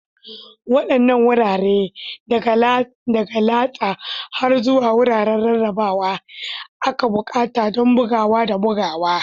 Waɗanne wurare, daga latsa har zuwa wuraren rarrabawa, ake buƙata don bugawa da bugawa?